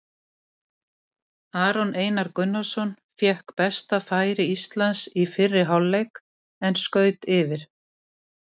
Aron Einar Gunnarsson fékk besta færi Íslands í fyrri hálfleik en skaut yfir.